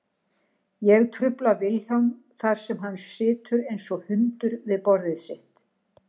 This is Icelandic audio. Ég trufla Vilhjálm þar sem hann situr einsog hundur við borðið sitt.